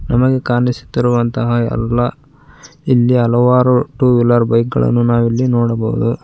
ನಮಗೆ ಕಾಣಿಸುತ್ತಿರುವಂತಹ ಎಲ್ಲಾ ಇಲ್ಲಿ ಹಲವರು ಟು ವೀಲರ್ ಬೈಕ್ ಗಳನ್ನು ನಾವು ಇಲ್ಲಿ ನೋಡಬಹುದು.